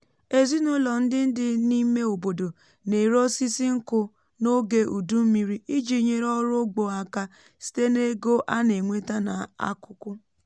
ezinụlọ ndị dị n’ime obodo na-ere osisi nkụ n’oge udu mmiri iji nyere ọrụ ugbo aka site n’ego a na-enweta n’akụkụ